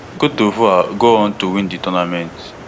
cte divoire go on to win di tournament